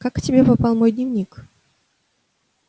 как к тебе попал мой дневник